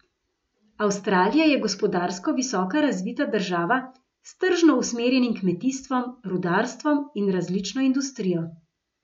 Avstralija je gospodarsko visoko razvita država s tržno usmerjenim kmetijstvom, rudarstvom in različno industrijo.